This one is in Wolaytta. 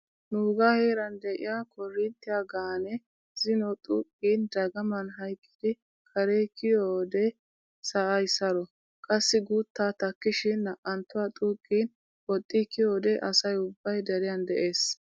Nuugaa heeran de'iyaa koorinttiya gaanee zino xuuqqin dagaman hayqqidi kare kiyiyoodee sa"ay saro. Qassi guutta takkishin na"anttuwa xuuqqin woxxi kiyiyoodee asay ubbay deriyan de'ees.